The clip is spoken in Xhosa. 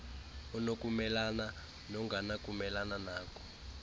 onokumelana nongenakumelana nako